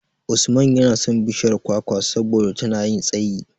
Usman yana son bishiyar kwakwa saboda tana yin tsayi.